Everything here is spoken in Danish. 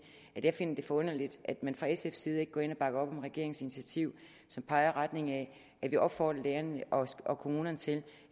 jeg finder det forunderligt at man fra sfs side ikke går ind og bakker op om regeringens initiativ som peger i retning af at vi opfordrer lærerne og kommunerne til